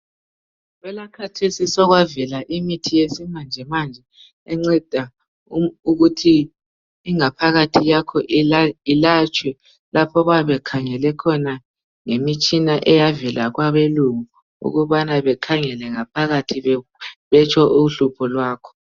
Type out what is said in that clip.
Kwelakhathesi sokwavela imithi yesimanjemanje enceda ukuthi ingaphakathi yakho ilatshwe. Lapho bayabe bekhangele khona ngemitshina eyavela kwabelungu .Ukubana bekhangele ngaphakathi betsho uhlupho lwakho.